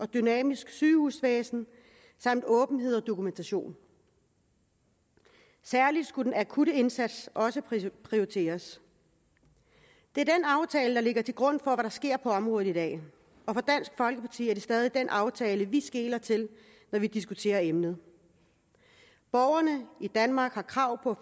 dynamisk sygehusvæsen samt åbenhed og dokumentation særlig skulle den akutte indsats prioriteres det er den aftale der ligger til grund for hvad der sker på området i dag og for dansk folkeparti er det stadig den aftale vi skeler til når vi diskuterer emnet borgerne i danmark har krav på